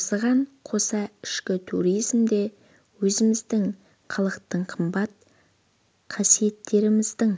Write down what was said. осыған қоса ішкі туризмде өзіміздің халықтық қымбат қасиеттеріміздің